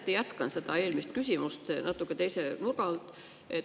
Mõneti jätkan eelmist küsimust, natuke teise nurga alt.